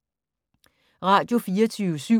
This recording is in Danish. Radio24syv